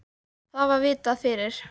Það var vitað fyrir.